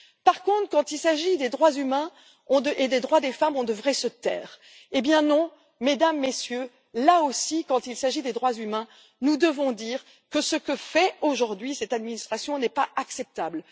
Par contre, quand il s'agit des droits humains et des droits des femmes, on devrait se taire. Non, Mesdames et Messieurs! Là aussi, quand il s'agit des droits humains, nous devons dire que ce que fait aujourd'hui cette administration n'est pas acceptable.